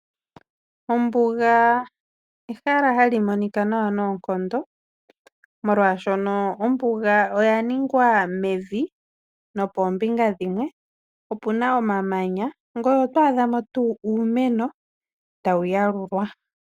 Ombuga ehala hayi monika nawa noonkondo molwaashoka ombuga oya ningwa mevi Opuna omamanya ngoye oto adhamo tuu uumeno tawu yalulwa.